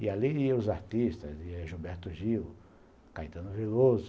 E ali iam os artistas, ia Gilberto Gil, Caetano Viloso.